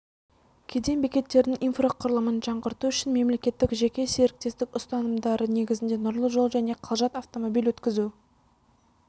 кеден бекеттерінің инфрақұрылымын жаңғырту үшін мемлекеттік-жеке серіктестік ұстанымдары негізінде нұрлы жол және қалжат автомобиль өткізу